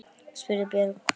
spurði Björg.